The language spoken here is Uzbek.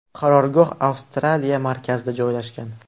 Qarorgoh Avstraliya markazida joylashgan.